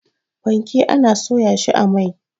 fanke ana soya shi a mai